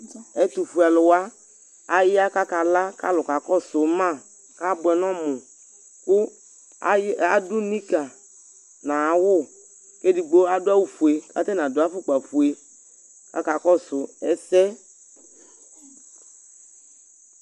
Ɛtʋfuealʋ wa, aya kʋ akala kʋ alʋ kakɔsʋ ma kʋ abʋɛ nʋ ɔmʋ kʋ ay adʋ nikǝ nʋ ayʋ awʋ kʋ edigbo adʋ awʋfue kʋ atanɩ adʋ afʋkpafue kʋ akakɔsʋ ɛsɛ